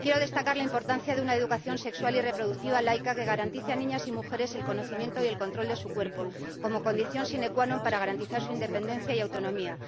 Quiero destacar la importancia de una educación sexual y reproductiva laica que garantice a niñas y mujeres el conocimiento y el control de su cuerpo como condición sine qua non para garantizar su independencia y autonomía.